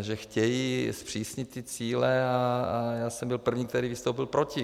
že chtějí zpřísnit ty cíle, a já jsem byl první, který vystoupil proti.